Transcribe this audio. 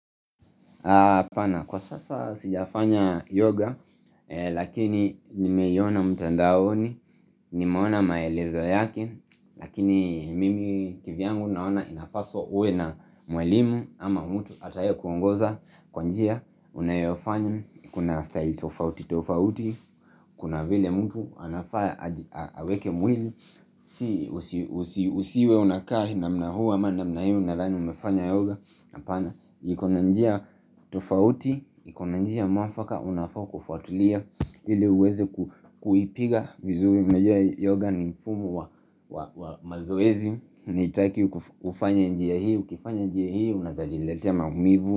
Kwa sasa sijafanya yoga, lakini nimeiona mtandaoni, nimeona maelezo yake, lakini mimi kivyangu naona inapaswa uwe na mwalimu ama mtu ataye kuongoza kwa njia, unayofanya, kuna style tofauti tofauti, kuna vile mtu anafaa aweke mwili, usiwe unakaa na mna huu ama namna hii unadhani umefanya yoga apana, iko na njia tofauti, iko na njia mwafaka, unafaa kufuatilia ile uweze kuipiga vizuri, unajua yoga ni mfumo wa mazoezi ni haitaki ufanye njia hiu, ukifanya njia hii, unaeza jiletea maumivu.